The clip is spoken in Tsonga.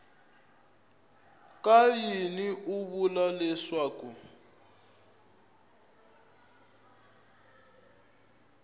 ka yini u vula leswaku